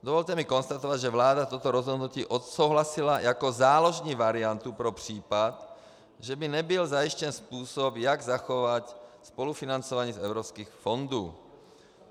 Dovolte mi konstatovat, že vláda toto rozhodnutí odsouhlasila jako záložní variantu pro případ, že by nebyl zajištěn způsob, jak zachovat spolufinancování z evropských fondů.